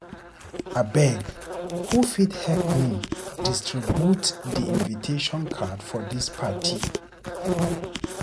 Abeg, who fit help me distribute di invitation card for dis party?